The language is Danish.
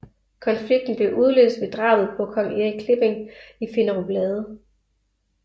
Konflikten blev udløst ved drabet på kong Erik Klipping i Finderup Lade